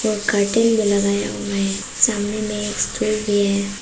और कटिंग भी लगाया हुआ है सामने में एक स्टूल भी है।